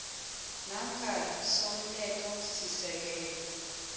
namkha i somthethosisekelo